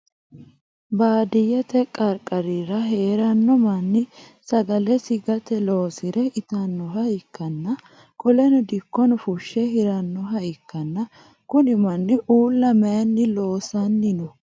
Baadiyete gargarira heerano manni sagalesi gate loosire itanoha ikanna qoleno dikkono fushe hiranoha ikanna kunni manni uula mayinni loosanni no?